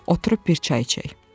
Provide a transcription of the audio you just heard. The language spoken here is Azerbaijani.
Oturub bir çay içək.